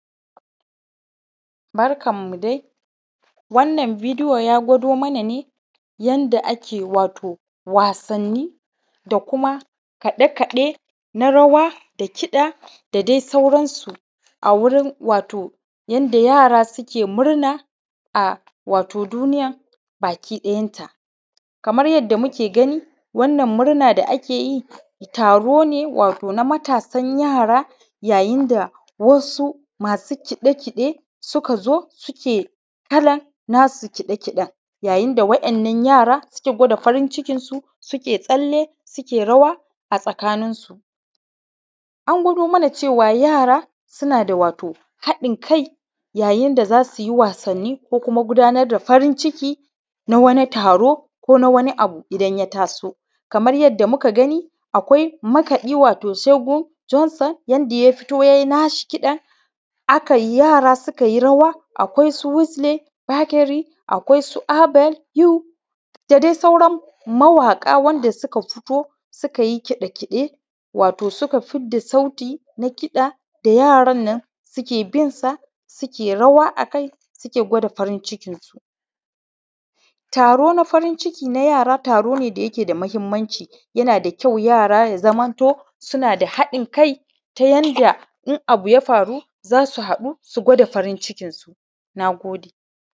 Barkanmu dai, wanna bidiyo ya gwado mana ne yanda ake wato wasanni da kuma kaɗe-kaɗe na rawa da kiɗa da dai sauransu a wurin wato yanda yaara suke murna a wato duniyan bakii ɗayanta. Kamar yadda muke gani wannan murna da ake yi taro ne wato na mataasan yaara yayin da wasu masu kiɗe-kiɗe suka zo suke kalan naa su kiɗe-kiɗen, yayin da waɗannan yaara suke gwada farin-cikinsu suke tsalle suke rawa a tsakaninsu. An gwado mana cewa wato yaara suna da wato haɗin-kai yayin da za su yi wasanni ko kuma gudaanar da farin-ciki na wani taro ko na wani abu idan ya taso. Kamar yadda muka gani akwai makaɗi wato segun Johnson yanda ya fito yayi na shi kiɗan aka yi yaara suka yi rawa akwai su wisely, bageri akwai su abel hui da dai sauran mawaƙa wanda suka fito suka yi kiɗe-kiɗe wato suka fidda sauti na kiɗa da yaaran nan suke bin sa suke rawa akai suke gwada farin-cikinsu. Taro na farin-ciki na yaara taro ne da yake da mahimmanci, yana da kyau yaara su zamanto suna da haɗin kai ta yanda in abu ya faru za su haɗu su gwada farin-cikinsu, naagode.